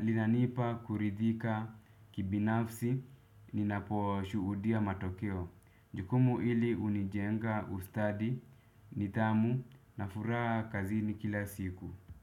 linanipa kuridhika kibinafsi ninaposhuhudia matokeo. Jukumu hili hunijenga ustadi nidhamu na furaha kazini kila siku. Kwa hivyo.